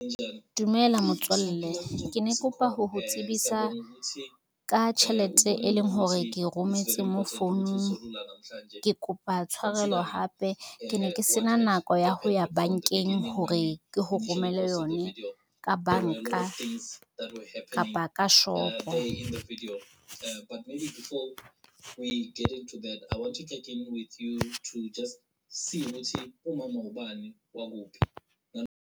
Dumela motswalle, ke ne ke kopa ho ho tsebisa ka tjhelete, e leng hore ke rometse mo founung, ke kopa tshwarelo hape ke ne ke sena nako ya ho ya bankeng hore ke ho romele yone ka banka kapa ka shop.